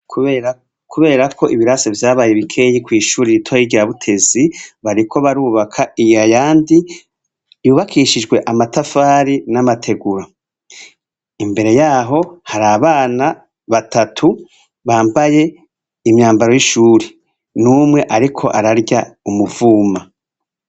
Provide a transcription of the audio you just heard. Kuberako ibirasi vyabaye bikeya kw'ishure ritoya rya Butezi, bariko barubaka ayandi yubakishijwe amatafari n'amategura, imbere yaho har'abana batatu bambaye imyambaro y'ishure, n'umwe ariko ararya umuvuma.